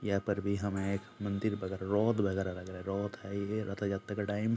यहाँ पर भी हमे एक मंदिर वगेरा रोथ वागेरा लग रहा रोथ है ये रथयात्रा का टाइम --